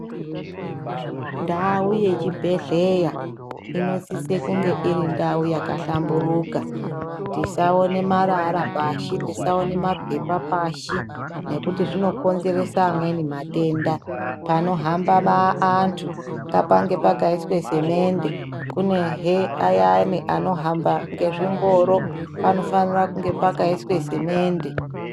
Ndau ye chibhedhleya inosise kunge iri ndau yaka hlamburuka tisaona marara pashi tisaone mapepa pashi nekuti zvino konzeresa amweni matenda pano hamba antu ngapange pakaiswa semende kunehe ayani anohamba ngezvi ngoro panofanira kunge pakaiswe simende.